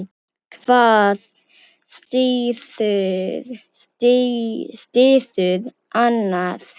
Hvað styður annað.